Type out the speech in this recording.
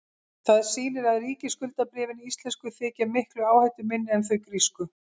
það sýnir að ríkisskuldabréfin íslensku þykja miklu áhættuminni en þau grísku